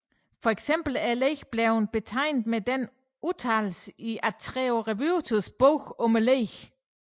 For eksempel er legene blevet betegnet med denne udtalelse i Antero Raevuoris bog om legene